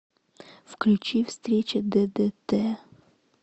включи встреча ддт